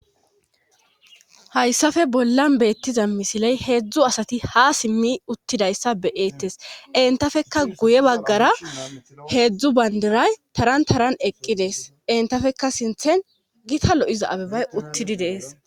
hayssafe bollan beettiza misiley heedzdzu asati ha simmi uttidayssa beyeettes entafeka guye baggara heedzdzu bayndiray taran taran eqqi dees entafekka sinthen gita lo7iza abebay uttidi dees